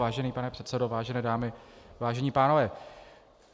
Vážený pane předsedo, vážené dámy, vážení pánové.